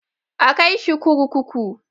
A kai shi kurkuku.